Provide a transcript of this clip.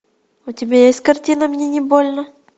у тебя есть картина мне не больно